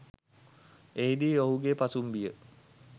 එහිදී ඔහුගෙ පසුම්බිය